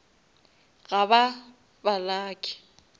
ga ba ba lucky